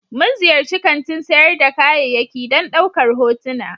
Mun ziyarci kantin sayar da kayayyaki don ɗaukar hotuna.